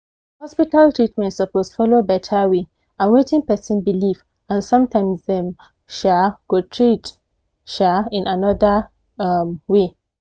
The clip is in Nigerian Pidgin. hospital treatment suppose follow better way and wetin person believe and sometimes dem um go treat um in another um way